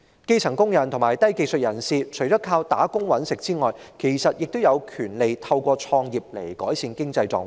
基層工人及低技術人士，除了靠打工"搵食"外，其實也有權利透過創業來改善經濟狀況。